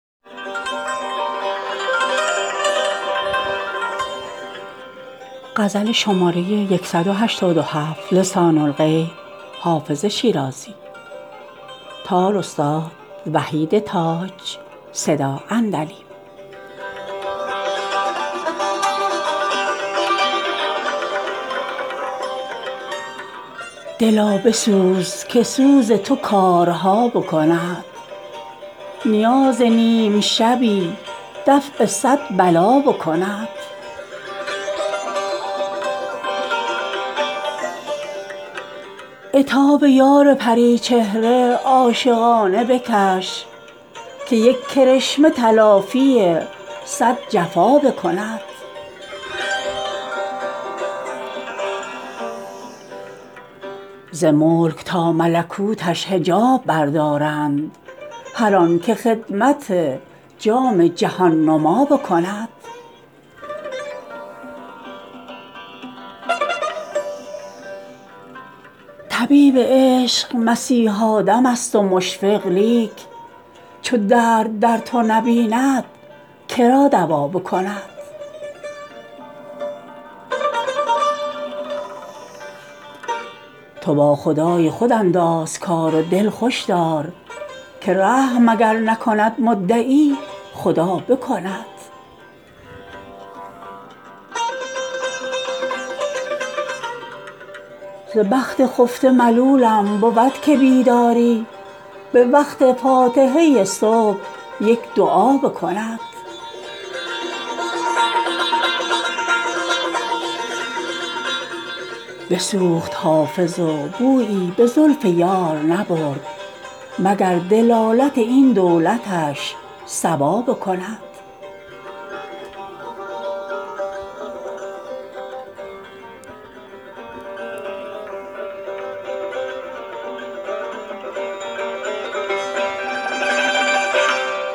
دلا بسوز که سوز تو کارها بکند نیاز نیم شبی دفع صد بلا بکند عتاب یار پری چهره عاشقانه بکش که یک کرشمه تلافی صد جفا بکند ز ملک تا ملکوتش حجاب بردارند هر آن که خدمت جام جهان نما بکند طبیب عشق مسیحا دم است و مشفق لیک چو درد در تو نبیند که را دوا بکند تو با خدای خود انداز کار و دل خوش دار که رحم اگر نکند مدعی خدا بکند ز بخت خفته ملولم بود که بیداری به وقت فاتحه صبح یک دعا بکند بسوخت حافظ و بویی به زلف یار نبرد مگر دلالت این دولتش صبا بکند